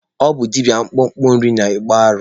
Ọ bụ dibịa akpakpọ Nri na-akpụ arụ.